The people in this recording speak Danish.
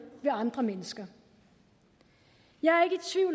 ved andre mennesker jeg